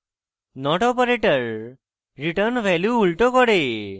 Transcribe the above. not operator return value উল্টো করে